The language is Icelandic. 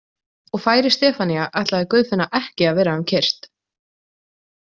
Og færi Stefanía ætlaði Guðfinna ekki vera um kyrrt.